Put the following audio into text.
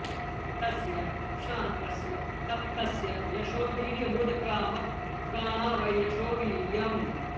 तस्य श्रान्तस्य तप्तस्य यशो वीर्यमुदक्रामत् प्राणा वै यशो वीर्यम्